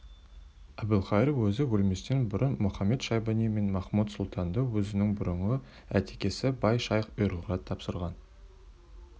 әбілқайыр өзі өлместен бұрын мұхамед-шайбани мен махмуд-сұлтанды өзінің бұрынғы атекесі бай-шайх ұйғырға тапсырған